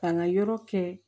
K'an ka yɔrɔ kɛ